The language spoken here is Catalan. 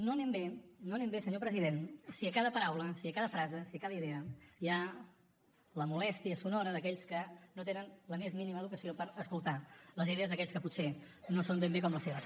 no anem bé no anem bé senyor president si a cada paraula si a cada frase si a cada idea hi ha la molèstia sonora d’aquells que no tenen la més mínima educació per escoltar les idees d’aquells que potser no són ben bé com les seves